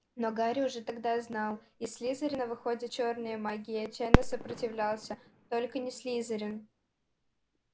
но гарри уже тогда знал из слизерина выходят чёрные маги и отчаянно сопротивлялся только не слизерин